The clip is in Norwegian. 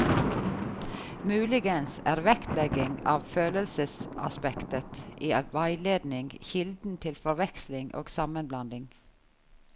Muligens er vektlegging av følelsesaspektet i veiledning kilden til forveksling og sammenblanding.